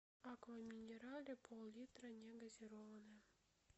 аква минерале поллитра негазированная